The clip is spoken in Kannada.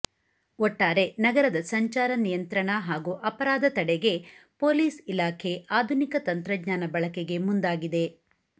ಒಟ್ಟಾರೆ ನಗರದ ಸಂಚಾರ ನಿಯಂತ್ರಣ ಹಾಗೂ ಅಪರಾಧ ತಡೆಗೆ ಪೊಲೀಸ್ ಇಲಾಖೆ ಆಧುನಿಕ ತಂತ್ರಜ್ಞಾನ ಬಳಕೆಗೆ ಮುಂದಾಗಿದೆ